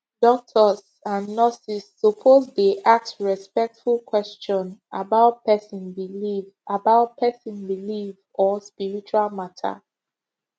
doctors and nurses suppose dey ask respectful question about person belief about person belief or spiritual matter